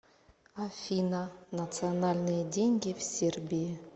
афина национальные деньги в сербии